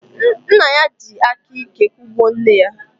Nna ya jiri aka ike kụgbuo nne ya.